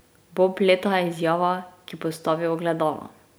Bob leta je izjava, ki postavi ogledalo.